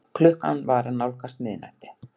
Klukkan var að nálgast miðnætti.